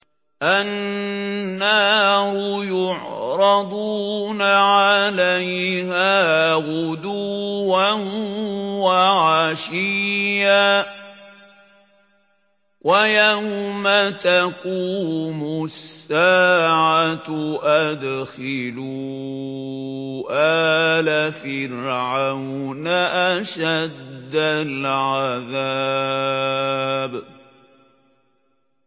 النَّارُ يُعْرَضُونَ عَلَيْهَا غُدُوًّا وَعَشِيًّا ۖ وَيَوْمَ تَقُومُ السَّاعَةُ أَدْخِلُوا آلَ فِرْعَوْنَ أَشَدَّ الْعَذَابِ